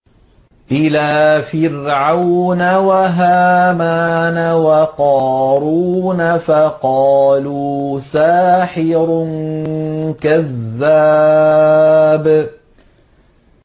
إِلَىٰ فِرْعَوْنَ وَهَامَانَ وَقَارُونَ فَقَالُوا سَاحِرٌ كَذَّابٌ